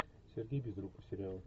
сергей безруков сериал